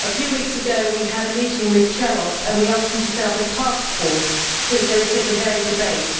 A few weeks ago we had a meeting with Commissioner Cioloş and we asked him to set up a taskforce since there is such a varied debate.